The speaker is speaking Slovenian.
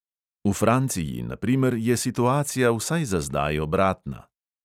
V franciji, na primer, je situacija vsaj za zdaj obratna.